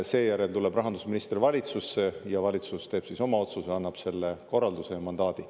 Seejärel tuleb rahandusminister valitsusse ja valitsus teeb oma otsuse, annab selle korralduse ja mandaadi.